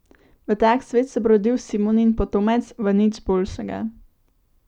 V tak svet se bo rodil Simonin potomec, v nič boljšega.